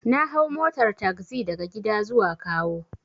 Na hau motar tagzi daga gida zuwa kawo.